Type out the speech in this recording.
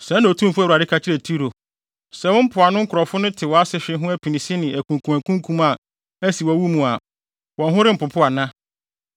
“Sɛɛ na Otumfo Awurade ka kyerɛ Tiro: Sɛ wo mpoano nkurow no te wʼasehwe ho apinisi ne akunkumakunkum a asi wɔ wo mu a, wɔn ho rempopo ana?